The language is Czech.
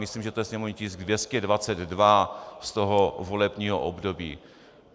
Myslím, že to je sněmovní tisk 222 z toho volebního období.